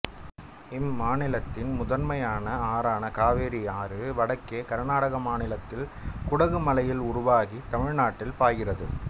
இம்மாநிலத்தின் முதன்மையான ஆறான காவிரி ஆறு வடக்கே கருநாடக மாநிலத்தில் குடகு மலையில் உருவாகித் தமிழ்நாட்டில் பாய்கிறது